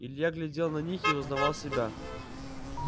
илья глядел на них и не узнавал себя